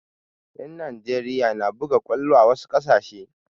Yan Nijeriya na buga kwallo da wasu ƙasashe